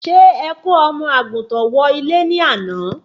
Ṣé ẹ kò omo àgùntàn wọ ilé ni àná?